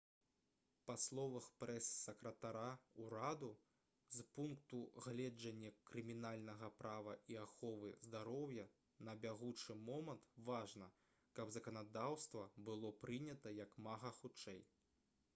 па словах прэс-сакратара ўраду «з пункту гледжання крымінальнага права і аховы здароўя на бягучы момант важна каб заканадаўства было прынята як мага хутчэй»